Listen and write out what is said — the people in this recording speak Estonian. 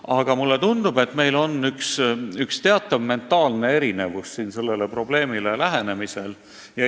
Aga mulle tundub, et me läheneme sellele probleemile mentaalselt mõnes mõttes erinevalt.